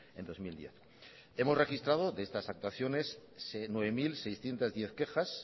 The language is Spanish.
en dos mil diez hemos registrado de estas actuaciones nueve mil seiscientos diez quejas